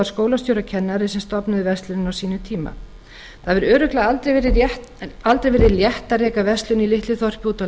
skólastjóri og kennari sem stofnuðu verslunina á sínum tíma það hefur örugglega aldrei verið létt að reka verslun í litlu þorpi úti á